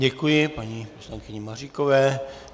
Děkuji paní poslankyni Maříkové.